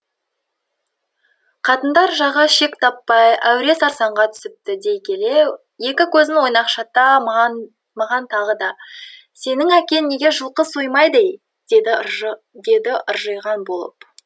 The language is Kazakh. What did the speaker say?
қатындар жағы шек таппай әуре сарсаңға түсіпті дей келе екі көзін ойнақшыта маған маған тағы да сенің әкең неге жылқы соймады ей деді ыржиған болып